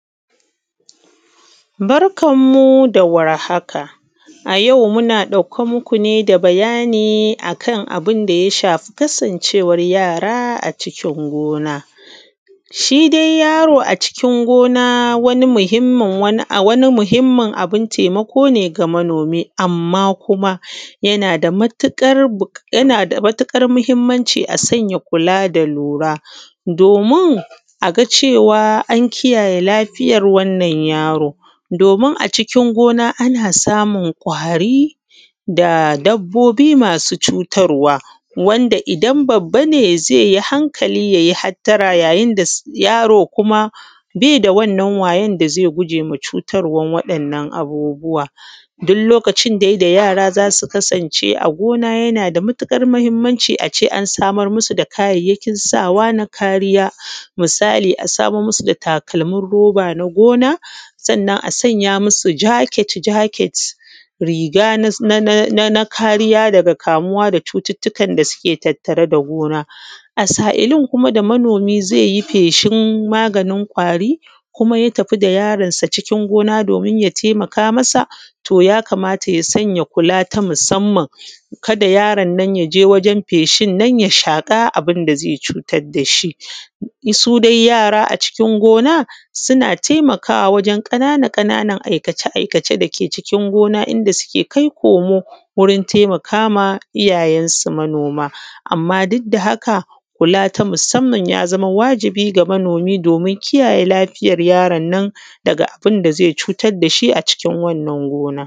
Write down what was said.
Barkan mu dawar haka a yau muna ɗauke muku ne da bayani akan abunda ya shafi kasan cewan yara a cikin gona. Shi dai yaro a cikin gona wani amhimmin abun taimako ne ga manomi. Amma kuma yana da matuƙar mahimmanci a sanya kula da lura domin aga cewa an kiyaye lafiyan wannan yaro domin a cikin gona ana samun kwari da dabbobi masu cutarwa, wanda idan babba ne zaiyi hankali yayi hattara ya yinda yaro kuma baida wannan wayan da zai gujewa cutarwan wa ‘yan’ nan abubuwa. Dullokacin dai da yara zasu kasance a gona yanada matuƙar mahimmanci ace an samar masu da kayan sawa na kariya misali ace an samar masu da takalmin roba na gona sannan a sanya masu jaket jaket, riga na kariya da suke tattare da cututtukan da suke tattare da gona. A sa’ilin da kuma manomi zaiyi feshin maganin kwari kuma ya tafi da yaro gona domin ya taimaka masa to yakata ya sanya kula na musamman kada yaronnon yaje waren feshinnan ya shaƙa abunda zai cutar dashi. Sudai yara a ciki gona suna taimakawa wajen ƙanana ƙananan ai kace ai kace dake gona cikin gona inda suke kai komo gurin taimakama iyyayensu manoma, amma dukda haka kula na sumamman ya zama wajibi ga manomi domin kiyaye lafiyan yaronnon daga abunda zai cutar dashi daga wannan gona.